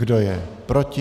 Kdo je proti?